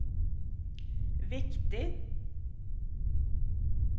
viktig